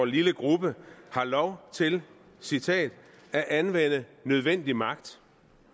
lille gruppe har lov til citat at anvende nødvendig magt